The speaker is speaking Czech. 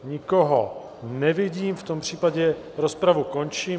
Nikoho nevidím, v tom případě rozpravu končím.